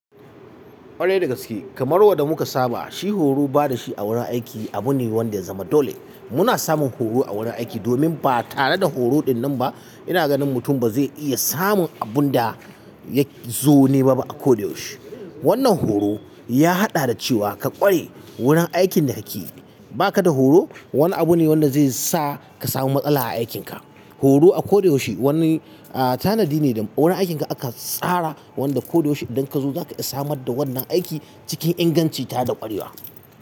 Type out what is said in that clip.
Ƙwarai da gaske kamar wanda muka saba shi horo bada shi a wurin aiki abu ne wanda ya zama dole muna samun horo a wurin aiki domin ba tare da horo dinnan ba ina ganin mutum ba zai iya samun abunda ya zo nema ba a ko da yaushe. Wannan horo ya haɗa da cewa ka ƙware wurin aikin da kake yi. Baka da horo? Wani abu ne wanda zai sa ka samu matsala a aikinka. Horo a ko da yaushe wani tanadi ne da wurin aikin ka aka tsara wanda ko da yaushe idan ka zo zaka iya samar da wannan aiki cikin inganci tare da ƙwarewa.